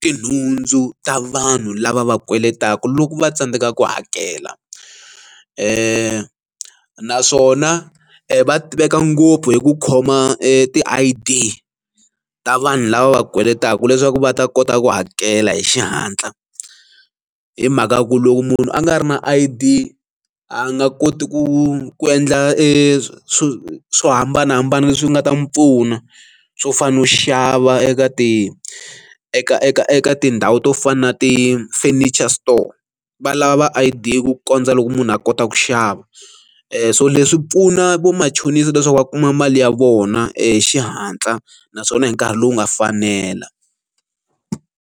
tinhundzu ta vanhu lava va kweletaku loko va tsandzeka ku hakela e naswona va tiveka ngopfu hi ku khoma ti I_D ta vanhu lava va kweletaku leswaku va ta kota ku hakela hi xihatla hi mhaka ya ku loko munhu a nga ri na I_D nga koti ku endla eswilo swo hambanahambana leswi nga ta n'wi pfuna swo fana na u xava eka ti eka eka eka tindhawu to fana na ti furniture store va lava va i due ku kondza loko munhu a kota ku xava so leswi pfuna vamachonisa leswaku va kuma mali ya vona e xihatla naswona hi nkarhi lowu nga fanela.